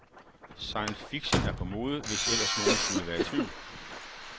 Science fiction er på mode, hvis ellers nogen skulle være i tvivl.